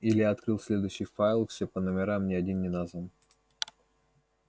илья открыл следующий файл всё по номерам ни один не назван